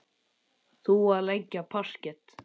Þú að leggja parket.